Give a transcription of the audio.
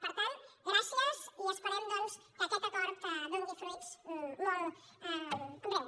per tant gràcies i esperem doncs que aquest acord doni fruits molt en breu